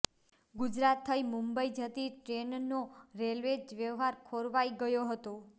ગુજરાત થઇ મુંબઈ જતી ટ્રેનનો રેલવે વ્યવહાર ખોરવાઈ ગયો છે